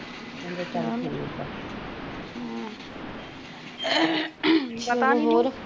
ਹੋਰ